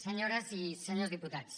senyores i senyors diputats